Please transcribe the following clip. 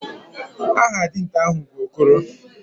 Aha dinta ahu bu Okoro.